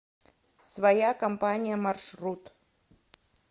своя компания маршрут